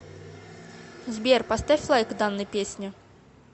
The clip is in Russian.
сбер поставь лайк данной песне